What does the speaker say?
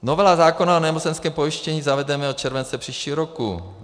Novelu zákona o nemocenském pojištění zavedeme od července příštího roku.